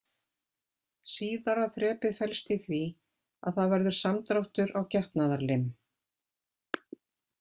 Síðara þrepið felst í því að það verður samdráttur á getnaðarlim.